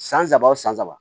San saba o san saba